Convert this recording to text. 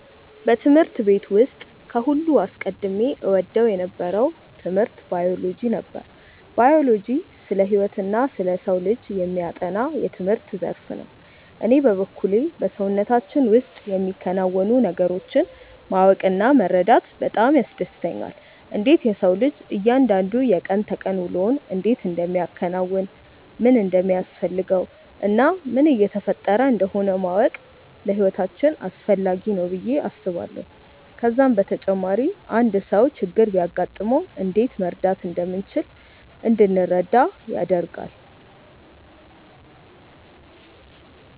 በትምህርት ቤት ውስጥ ከሁሉም አስቀድሜ እወደው የነበረው ትምህርት ባዮሎጂ ነበር። ባዮሎጂ ስለ ህይወትና ስለ ሰው ልጅ የሚያጠና የትምህርት ዘርፍ ነው። እኔ በበኩሌ በሰውነታችን ውስጥ የሚከናወኑ ነገሮችን ማወቅ እና መረዳት በጣም ያስደስተኛል። እንዴት የሰው ልጅ እያንዳንዱ የቀን ተቀን ውሎውን እንዴት እንደሚያከናውን፣ ምን እንደሚያስፈልገው እና ምን እየተፈጠረ እንደሆነ ማወቅ ለህይወታችን አስፈላጊ ነው ብዬ አስባለሁ። ከዛም በተጨማሪ አንድ ሰው ችግር ቢያጋጥመው እንዴት መርዳት እንደምንችል እንድንረዳ ያደርጋል።